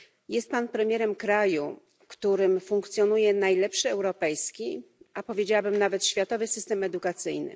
Jest pan premierem kraju, w którym funkcjonuje najlepszy europejski, a powiedziałabym nawet światowy, system edukacyjny.